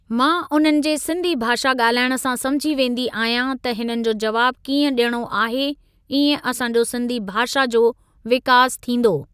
मां उन्हनि जे सिंधी भाषा ॻाल्हाइण सां समुझी वेंदी आहियां त हिननि जो जवाब कीअं ॾियणो आहे इएं असां जो सिंधी भाषा जो विकास थींदो।